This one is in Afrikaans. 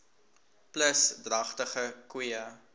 plus dragtige koeie